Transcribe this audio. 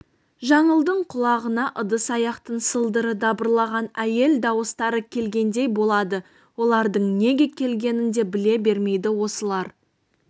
жаңылдың құлағына ыдыс-аяқтың сылдыры дабырлаған әйел дауыстары келгендей болады олардың неге келгенін де біле бермейді осылар